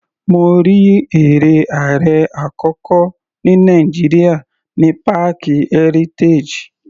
Mo rí eré ààrẹ àkọ́kọ́ tí Nàìjíríà ní páàkì Heritage.